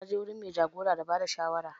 Na je wurin mai jagora da bada shawara